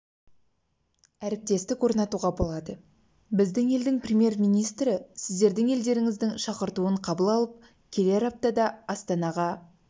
әріптестік орнатуға болады біздің елдің премьер-министрі сіздердің елдеріңіздің шақыртуын қабыл алып келер аптада астанаға